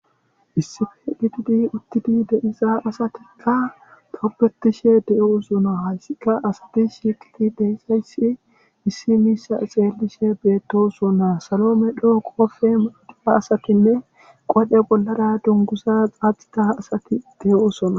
Issippe gidid utidi de'iza asatika tobetishe betosona.